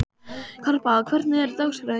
Harpa, hvernig er dagskráin í dag?